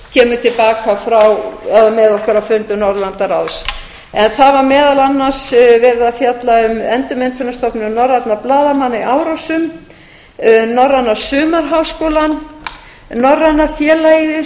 kemur til baka frá eða með okkur á fundum norðurlandaráð það var meðal annars verið að fjalla um endurmenntunarstofnun norrænna blaðamanna í árósum norræna sumarháskólann um norræna félagið